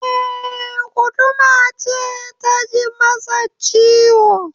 Eh, guduma ce ta ji masa ciwo